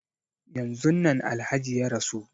Yanzun nan Alhaji ya rasu.